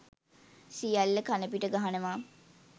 සියල්ල කණපිට ගහනවා.